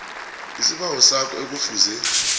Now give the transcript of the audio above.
isibawo sakho ekufuze